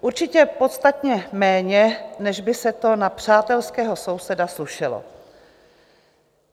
Určitě podstatně méně, než by se to na přátelského souseda slušelo.